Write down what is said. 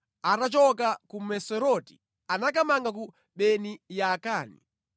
Atachoka ku Moseroti anakamanga ku Beni Yaakani.